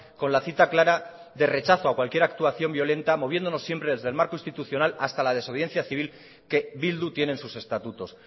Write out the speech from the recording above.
con la cita clara de rechazo a cualquier actuación violenta moviéndonos siempre desde el marco institucional hasta la desobediencia civil que bildu tiene en sus estatutos